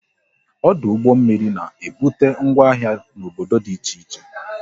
Ọdụ ụgbọ mmiri na ebute ngwa ahịa n'obodo dị iche iche